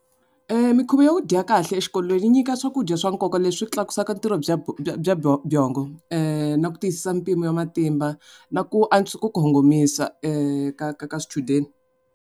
Mikhuva ya ku dya kahle exikolweni yi nyika swakudya swa nkoka leswi tlakusa ntirho bya bya byongo na ku tisa mpimo ya matimba na ku ku kongomisa ka ka ka swichudeni.